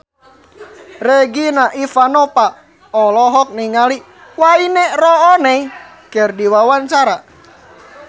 Regina Ivanova olohok ningali Wayne Rooney keur diwawancara